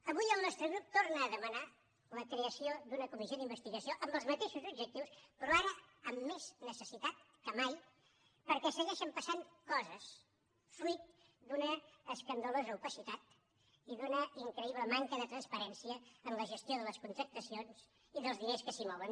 avui el nostre grup torna a demanar la creació d’una comissió d’investigació amb els mateixos objectius però ara amb més necessitat que mai perquè segueixen passant coses fruit d’una escandalosa opacitat i d’una increïble manca de transparència en la gestió de les contractacions i dels diners que s’hi mouen